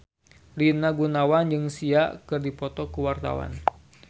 Rina Gunawan jeung Sia keur dipoto ku wartawan